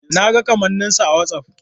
Na ga kamanninsa a Whatsapp.